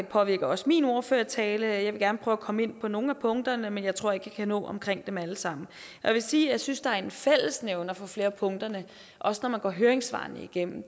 påvirker også min ordførertale jeg vil gerne prøve at komme ind på nogle af punkterne men jeg tror ikke jeg kan nå omkring dem alle sammen jeg vil sige at jeg synes der er en fællesnævner for flere af punkterne også når man går høringssvarene igennem